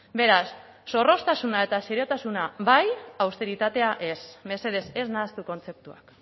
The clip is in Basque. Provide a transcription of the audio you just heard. beraz zorroztasuna eta seriotasuna bai austeritatea ez mesedez ez nahastu kontzeptuak